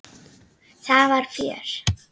Það var fjör.